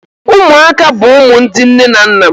Ụmụaka bụ ụmụ ndị nne na nna